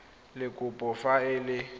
le kopo fa e le